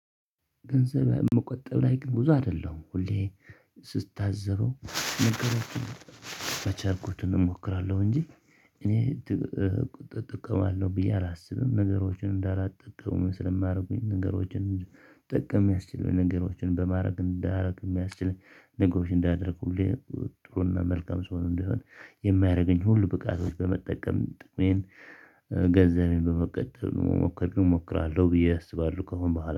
ገንዘብ መቆጠብ ላይ ግን ብዙ አይደለሁም ሁሌ ስታዘበው መገለጫዎችን በቻልሁት እሞክራለሁ እንጂ እኔ ቁጥጥር ጥቅም አለው ብዬ አላስብም። ነገሮችን እንዳላጠቀምም ስለማድረጉኝ ነገሮችን ጠቀም የሚያስችለው ነገሮችን በማድረግ እንዳያደርግ የሚያስችለኝ ነገሮች እንዳደረኩልኝ ጥሩና መልካም ሰው ነው። እንደሆን የማያደርገኝ ሁሉ ብቃቶች በመጠቀም ጥቅሜን በመቀጠል መሞከር እሞክራለሁ ብዬ አስባለሁ። ከሆነ